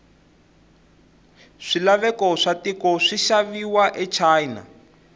swilaveko watiko swishaviwa achina